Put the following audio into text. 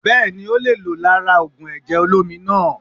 Bẹ́ẹ̀ni o le è lò lára ògùn èjè olómi naa